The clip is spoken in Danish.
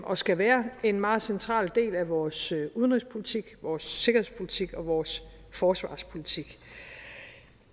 og skal være en meget central del af vores udenrigspolitik vores sikkerhedspolitik og vores forsvarspolitik